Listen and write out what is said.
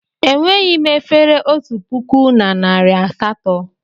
Enweghị m efere otu puku na narị asatọ.